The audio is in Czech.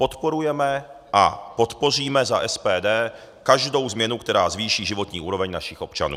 Podporujeme a podpoříme za SPD každou změnu, která zvýší životní úroveň našich občanů.